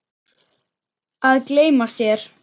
Að gleyma sér